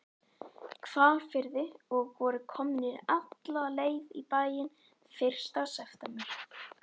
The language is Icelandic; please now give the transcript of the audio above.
Hvalfirði og voru komnir alla leið í bæinn fyrsta september.